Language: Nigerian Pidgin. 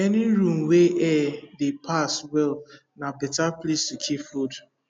any room wey air dey pass well na better place to keep food